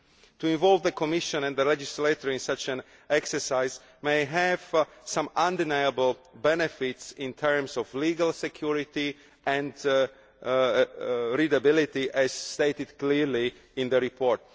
To involve the Commission and the legislator in such an exercise may have some undeniable benefits in terms of legal security and legibility, as stated clearly in the report.